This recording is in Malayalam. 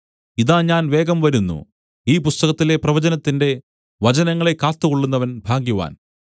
ഇതാ ഞാൻ വേഗം വരുന്നു ഈ പുസ്തകത്തിലെ പ്രവചനത്തിന്റെ വചനങ്ങളെ കാത്തുകൊള്ളുന്നവൻ ഭാഗ്യവാൻ